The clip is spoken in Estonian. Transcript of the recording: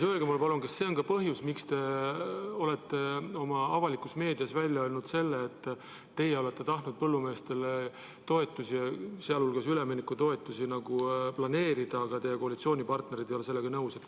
Öelge mulle, palun, kas see on ka põhjus, miks te olete oma meediakanalites välja öelnud, et teie olete tahtnud põllumeestele toetusi, sh üleminekutoetusi planeerida, aga teie koalitsioonipartnerid ei ole sellega nõus olnud.